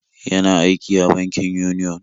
Yana aiki a bankin Union.